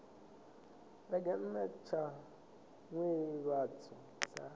vhege nna tsha nḓivhadzo tsha